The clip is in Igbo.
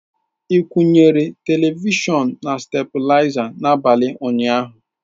Ị kwụnyere televishọn na stablizer n'abalị ụnyaahụ?